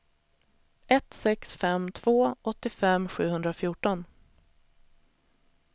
ett sex fem två åttiofem sjuhundrafjorton